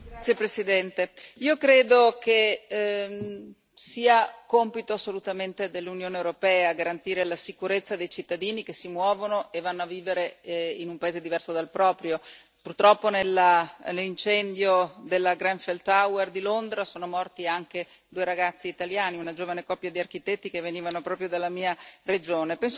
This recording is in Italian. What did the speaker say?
Signor Presidente, onorevoli colleghi, io credo che sia assolutamente compito dell'Unione europea garantire la sicurezza dei cittadini che si muovono e vanno a vivere in un paese diverso dal proprio. Purtroppo, nell'incendio della Grenfell Tower di Londra sono morti anche due ragazzi italiani, una giovane coppia di architetti che venivano proprio dalla mia regione.